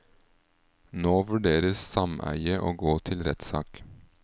Nå vurderer sameiet å gå til rettssak.